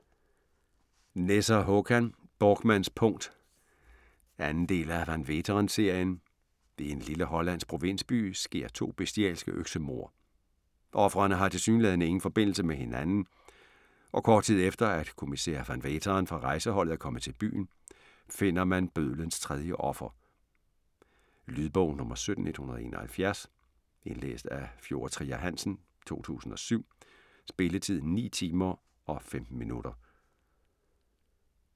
Nesser, Håkan: Borkmanns punkt 2. del af Van Veeteren-serien. I en lille hollandsk provinsby sker to bestialske øksemord. Ofrene har tilsyneladende ingen forbindelse med hinanden, og kort tid efter, at kommissær Van Veeteren fra rejseholdet er kommet til byen, finder man bødlens 3. offer. Lydbog 17171 Indlæst af Fjord Trier Hansen, 2007. Spilletid: 9 timer, 15 minutter.